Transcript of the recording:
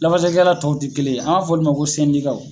Lafasalikɛla tɔw tɛ kelen ye, an b'a fɔ olu de ma ko sɛndikaw.